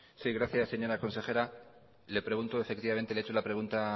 sí gracias señora consejera le pregunto efectivamente le he hecho de la pregunta